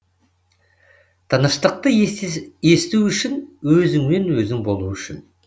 тыныштықты есту үшін өзіңмен өзің болу үшін